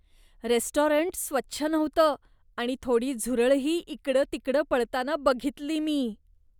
Restaurant स्वच्छ नव्हतं आणि थोडी झुरळंही इकडंतिकडं पळताना बघितली मी.